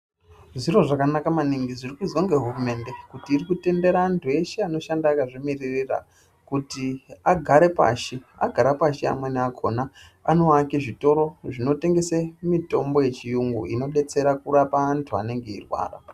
Zviro zvakanaka maningi zviri kuizwa ngehurumende kuti iri kutendera antu eshe anoshanda akazvimiririra kuti agare pashi, agara pashi amweni akona anovake zvitoro zvinotengese mitombo yechiyungu zvinodetsere kurape antu anenge eirwara.